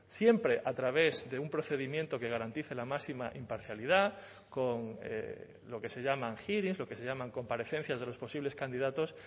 siempre a través de un procedimiento que garantice la máxima imparcialidad con lo que se llaman lo que se llaman comparecencias de los posibles candidatos